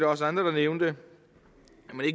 også andre der nævnte